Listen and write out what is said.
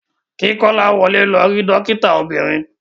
Ki Kolawole lọ ri dokita obiririn.